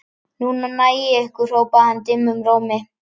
Núna næ ég ykkur hrópaði hann dimmum rómi.